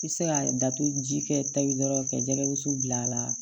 I bɛ se ka datugu ji kɛ taji dɔrɔn ka jɛgɛ wusu bila a la